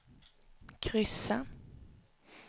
kryssa